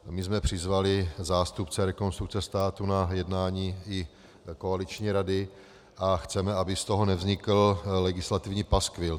My jsme přizvali zástupce Rekonstrukce státu na jednání i koaliční rady a chceme, aby z toho nevznikl legislativní paskvil.